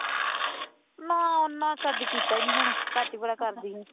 ਨਾਂ ਮੈਂ ਕਦੇ ਕੀਤਾ ਹੀ ਨੀ ਹੁਣ ਘੱਟ ਹੀ ਬਾਹਲਾ ਕਰਦੀ ਹਾਂ